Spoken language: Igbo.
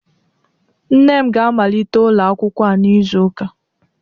Nne m ga-amalite ụlọ akwụkwọ a n'izu ụka